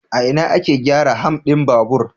A ina ake gyara ham din babur?